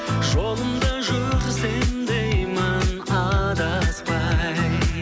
жолымда жүрсем деймін адаспай